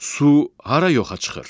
Su hara yoxa çıxır?